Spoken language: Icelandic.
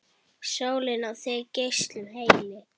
Sólin á þig geislum helli!